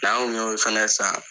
Plan ku y' olu fɛnɛ san?